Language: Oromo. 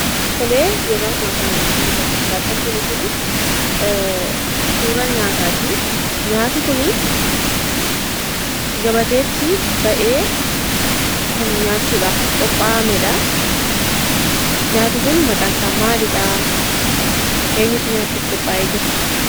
Tolee, yeroo ammaa kana wanti nuti as gubbaatti arginu kunii suuraa nyaataatii. Nyaati kunii gabateetti ba'ee kan nyaachuudhaaf qophaa'amedhaa. Nyaati kun maqaansaa maalidhaa? Eenyutu nyaachuf qophaa'ee jira?